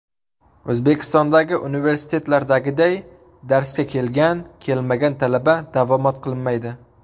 O‘zbekistondagi universitetlardagiday darsga kelgan, kelmagan talaba davomat qilinmaydi.